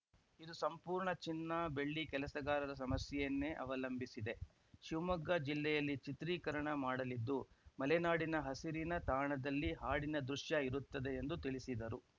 ಇದು ಸಂಪೂರ್ಣ ಚಿನ್ನ ಬೆಳ್ಳಿ ಕೆಲಸಗಾರರ ಸಮಸ್ಯೆಯನ್ನೇ ಅವಲಂಬಿಸಿದೆ ಶಿವಮೊಗ್ಗ ಜಿಲ್ಲೆಯಲ್ಲಿ ಚಿತ್ರೀಕರಣ ಮಾಡಲಿದ್ದು ಮಲೆನಾಡಿನ ಹಸಿರಿನ ತಾಣದಲ್ಲಿ ಹಾಡಿನ ದೃಶ್ಯ ಇರುತ್ತದೆ ಎಂದು ತಿಳಿಸಿದರು